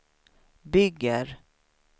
bygger